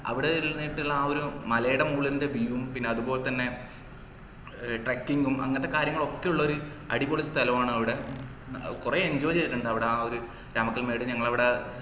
അവിടെ ഇരുന്നിട്ടുള്ള ആ ഒരു മലയുടെ മോളിന്റെ view ഉം പിന്നെ അതുപോലെതന്നെ ഏർ trucking ഉം അങ്ങത്തെ കാര്യങ്ങളൊക്കെ ഉള്ളൊരു അടിപൊളി സ്ഥലവാണ് അവിടെ കൊറേ enjoy ചെയ്തിട്ടുണ്ട് അവിടെ ആ ഒര് രാമക്കൽമേട് ഞങ്ങളവിടെ